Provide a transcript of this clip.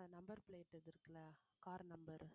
அந்த number plate இது இருக்குல்ல car number